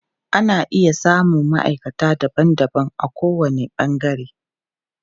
Ana iya samun maʼaikata daban daban a ko wani ɓangare.